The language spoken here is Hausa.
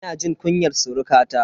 Ina jin kunyar surukata.